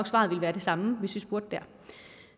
svaret ville være det samme hvis vi spurgte der